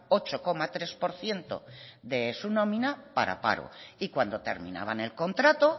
ocho coma tres por ciento de su nómina para paro y cuando terminaban el contrato